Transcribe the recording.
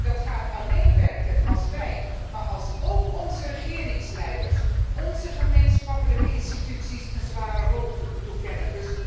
En dat gaat alleen werken als wij, maar ook onze regeringsleiders, onze gemeenschappelijke instituties een zware rol toekennen.